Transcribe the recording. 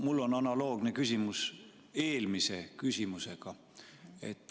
Mul on eelmise küsimusega analoogne küsimus.